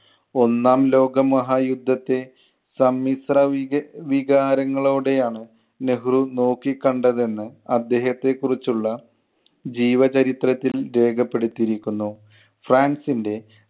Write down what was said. ഒന്നാം ലോക മഹായുദ്ധത്തെ സമ്മിശ്ര വിക~ വികാരങ്ങളോടെയാണ് നെഹ്‌റു നോക്കി കണ്ടതെന്ന്, അദ്ദേഹത്തെ കുറിച്ചുള്ള ജീവചരിത്രത്തിൽ രേഖപ്പെടുത്തിയിരിക്കുന്നു. ഫ്രാൻസിൻ്റെ